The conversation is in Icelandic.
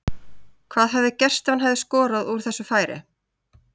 Hvað hefði gerst ef hann hefði skorað úr þessu færi?